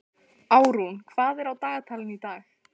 Árún, hvað er á dagatalinu í dag?